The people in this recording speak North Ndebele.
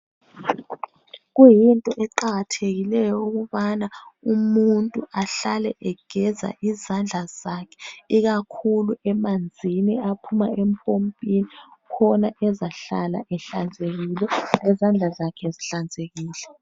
Kuyinto eqakathekileyo ukubana umuntu ahlale egeza izandla zakhe ikakhulu emanzini aphuma empompini khona ezahlala ehlanzekile, lezandla zakhe zihlanzekile.